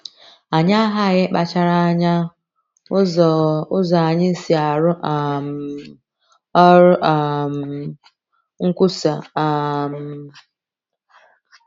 Anyị aghaghị ịkpachara anya ụzọ ụzọ anyị si arụ um ọrụ um nkwusa um.